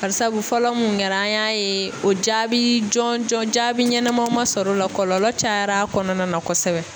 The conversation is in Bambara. Bari sabu fɔlɔ mun kɛra an y'a ye o jaabi jɔn jɔn jaabi ɲɛnama ma sɔr'o la kɔlɔlɔ cayar'a kɔnɔna na kɔsɛbɛ.